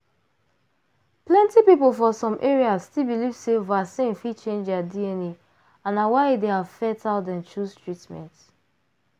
plenty people for some areas still belive sey vaccine fit change their dna and na why e dey affect how dem chose treatments.